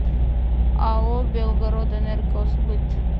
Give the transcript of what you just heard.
ао белгородэнергосбыт